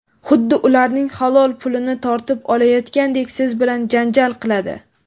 xuddi ularning halol pulini tortib olayotgandek siz bilan janjal qiladi.